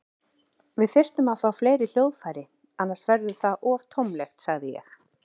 Við þyrftum að fá fleiri hljóðfæri, annars verður það of tómlegt, sagði ég.